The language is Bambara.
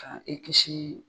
Ka i kisi